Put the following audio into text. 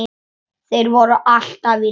Þeir voru alltaf í landi.